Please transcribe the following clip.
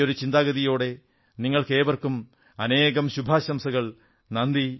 ഈയൊരു ചിന്താഗതിയോടെ നിങ്ങൾക്കേവർക്കും അനേകം ശുഭാശംസകൾ നന്ദി